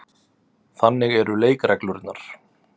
Þannig eru leikreglurnar.